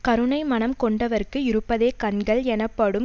கருணை மனம் கொண்டவர்க்கு இருப்பதே கண்கள் எனப்படும்